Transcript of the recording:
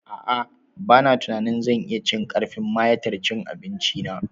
A'a ba na tunanin zan iya cin karfin mayatar cin abinci na